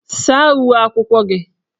Saa uwe akwụkwọ gị!